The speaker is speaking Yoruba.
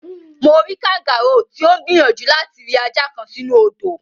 Mo rí kangáróò tí ó ń gbìyànjú láti ri ajá kan sínú odò.